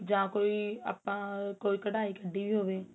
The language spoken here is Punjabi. ਜਾਂ ਕੋਈ ਆਪਾਂ ਕੋਈ ਕੱਡਾਈ ਕੱਡੀ ਵੀ ਹੋਵੇ